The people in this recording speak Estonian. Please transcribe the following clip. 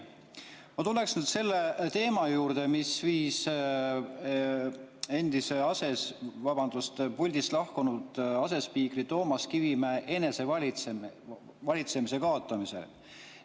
Ma tulen nüüd selle teema juurde, mis viis puldist lahkunud asespiikri Toomas Kivimäe enesevalitsemise kaotamiseni.